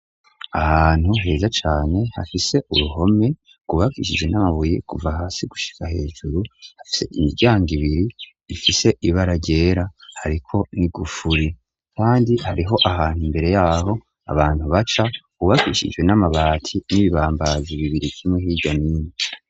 Ahantu heza cane hafise uruhome rwubakishijwe n'amabuye kuva hasi gushika hejuru hafise imiryango ibiri ifise ibara ryera hariko n'igufuri kandi hariho ahantu imbere yaho abantu baca hubakishijwe n'amabati n'ibibambazi bibiri kimwe hirya ni nino.